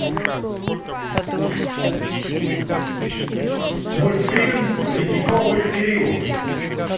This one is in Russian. мультфильм ледниковый период